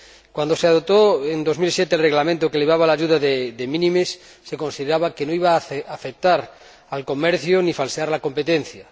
Cuando se adoptó en 2007 el Reglamento que elevaba la ayuda de minimis se consideraba que no iba a afectar al comercio ni falsear la competencia.